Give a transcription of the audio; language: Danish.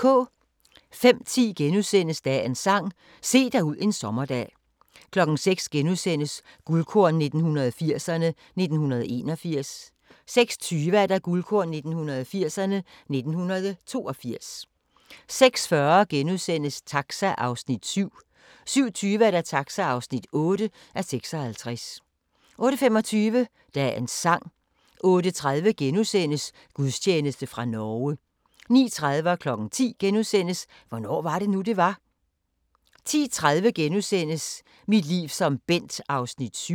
05:10: Dagens Sang: Se dig ud en sommerdag * 06:00: Guldkorn 1980'erne: 1981 * 06:20: Guldkorn 1980'erne: 1982 06:40: Taxa (7:56)* 07:20: Taxa (8:56) 08:25: Dagens Sang 08:30: Gudstjeneste fra Norge * 09:30: Hvornår var det nu, det var? * 10:00: Hvornår var det nu, det var? * 10:30: Mit liv som Bent (7:10)*